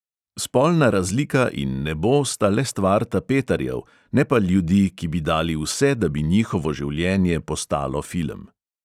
Spolna razlika in nebo sta le stvar tapetarjev, ne pa ljudi, ki bi dali vse, da bi njihovo življenje postalo film.